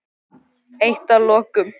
Eitt að lokum.